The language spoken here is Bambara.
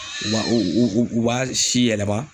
U b'a u u u b'a si yɛlɛma